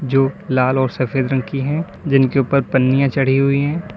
जो लाल और सफेद रंग की है जिनके ऊपर पन्नियां चढ़ी हुई है।